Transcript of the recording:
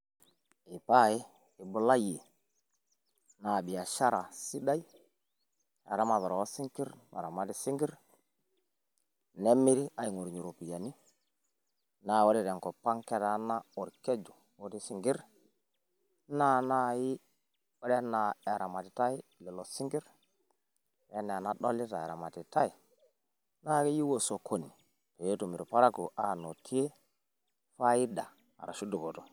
ee pae ibulayie, naa biashara sidai eramatare oosinkir, naramati sinkir, nemiri, aing'orunye iropiyiani, naa ore tenkop ang ketaana orkeju otii sinkir, naa keyieu osokoni omirieki.